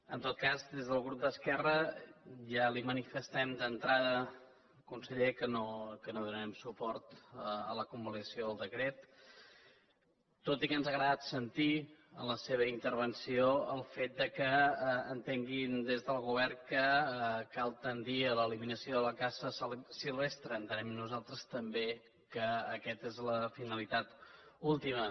en tot cas des del grup d’esquerra ja li manifestem d’entrada conseller que no donarem suport a la convalidació del decret tot i que ens ha agradat sentir en la seva intervenció el fet que entenguin des del govern que cal tendir a la l’eliminació de la caça silvestre entenem nosaltres també que aquesta és la finalitat última